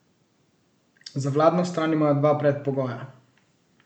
Za vladno stran imajo dva predpogoja.